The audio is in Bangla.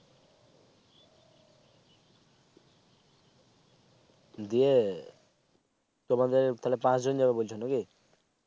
দিয়ে তোমাদের তাহলে পাচ জন যাবে বলছো না কি